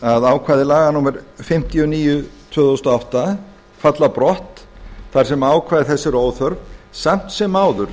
að ákvæði laga númer fimmtíu og níu tvö þúsund og átta falla brott þar sem ákvæði þess eru óþörf samt sem áður